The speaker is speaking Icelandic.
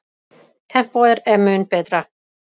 Tempóið er mun betra.